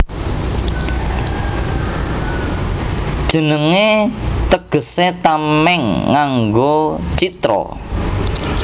Jenengé tegesé Tamèng nganggo Citra